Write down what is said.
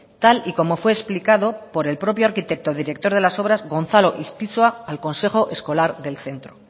tal y como fue explicado por el propio arquitecto director de las obras gonzalo ispizua al consejo escolar del centro